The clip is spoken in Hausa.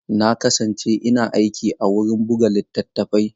Na kasance ina aiki a wurin buga littattafai.